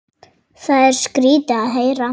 Það er skrýtið að heyra.